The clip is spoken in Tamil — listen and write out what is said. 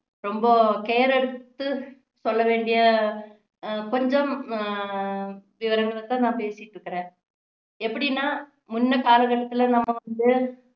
ரொம்ப care எடுத்து சொல்ல வேண்டிய அஹ் கொஞ்சம் உம் விவரங்களை தான் நான் பேசிட்டு இருக்குறேன் எப்படின்னா முன்ன கால கட்டத்துல நம்ம வந்து